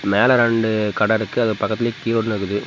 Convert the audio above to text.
மேல ரெண்டு கட இருக்கு அது பக்கத்துலயே .]